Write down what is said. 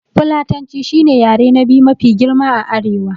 Fulatanci shi ne yare na biyu mafi girma a arewa